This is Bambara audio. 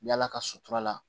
Yala ka sutura la